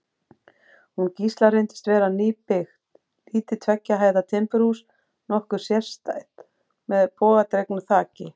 Hús Gísla reyndist vera nýbyggt, lítið tveggja hæða timburhús, nokkuð sérstætt, með bogadregnu þaki.